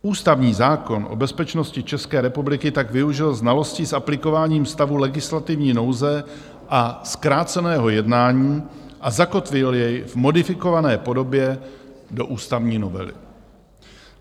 Ústavní zákon o bezpečnosti České republiky tak využil znalostí s aplikováním stavu legislativní nouze a zkráceného jednání a zakotvil jej v modifikované podobě do ústavní novely.